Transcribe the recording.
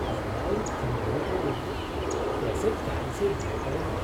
ज़रा उन खंभों को देखो। कैसे काई से भरे पड़े हैं।